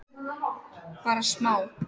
Bara smá?